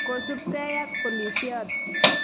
kosubgei ak polisiot.